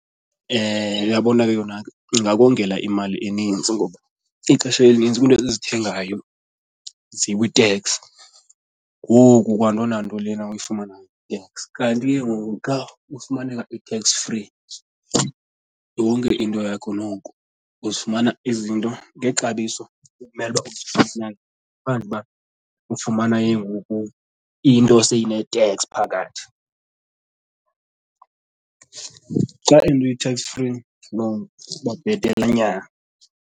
Uyabona ke yona ke ingakongela imali eninzi ixesha elinintsi kwiinto esizithengayo zikwi-tax. Ngoku kwanto nanto lena uyifumanayo i-tax. Kanti ke ngoku xa ufumaneka i-tax free yonke into yakho noko uzifumana izinto ngexabiso ekumele uba uzifumane ngaphandle uba ufumana ke ngoku into seyine-tax phakathi. Xa into i-tax free, no, iba bhetelenyana.